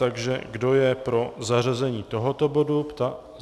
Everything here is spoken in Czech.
Takže kdo je pro zařazení tohoto bodu?